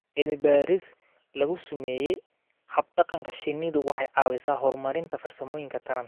Cilmi-baadhis lagu sameeyo hab-dhaqanka shinnidu waxay caawisaa horumarinta farsamooyinka taranta.